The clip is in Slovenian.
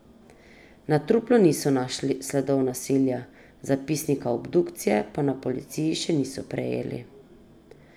Na truplu niso našli sledov nasilja, zapisnika obdukcije pa na policiji še niso prejeli.